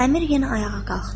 Əmir yenə ayağa qalxdı.